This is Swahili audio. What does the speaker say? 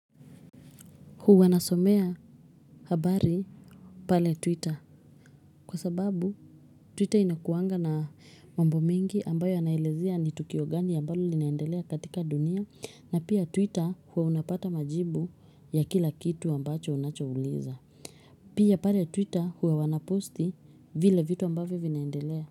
Huwa nasomea habari pale Twitter kwa sababu Twitter inakuwanga na mambo mingi ambayo yanaelezea ni tukio gani ambayo linaendelea katika dunia na pia Twitter huwa unapata majibu ya kila kitu ambacho unachouliza. Pia pale Twitter huwa wanaposti vile vitu ambayo vinaendelea.